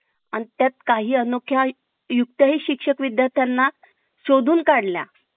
आणि त्यात काही अनोख्या युक्ती शिक्षक विद्यार्थ्यांना शोधून काढल्या